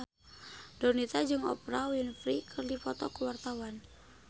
Donita jeung Oprah Winfrey keur dipoto ku wartawan